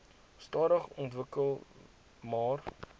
stadig ontwikkel maar